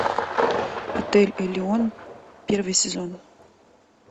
отель элеон первый сезон